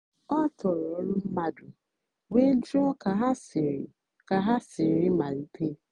o tòrò ọ́rụ́ mmadụ́ wéé jụ́ọ́ kà ha sìrì kà ha sìrì malìtè.